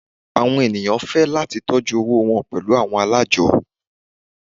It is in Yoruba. Awọn eniyan fẹ lati tọjú owó wọn pẹlu awọn alájọ́.